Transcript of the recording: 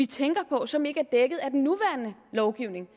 tænker på som ikke er dækket af den nuværende lovgivning